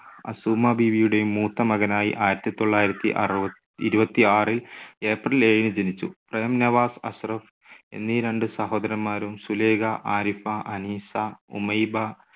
അസുമ ബീവിയുടെയും മൂത്ത മകനായി ആയിരത്തി തൊള്ളായിരത്തി അറു ഇരുപത്തിയാറ് April ഏഴിന് ജനിച്ചു. പ്രേം നവാസ്, അഷ്‌റഫ് എന്നീ രണ്ട് സഹോദരന്മാരും സുലേഖ, ആരിഫ, അനീസ, ഉമൈബ,